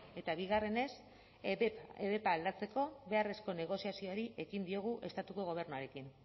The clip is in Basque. eta bigarrenez ebep aldatzeko beharrezko negoziazioari ekin diogu estatuko gobernuarekin